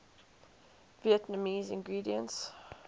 vietnamese ingredients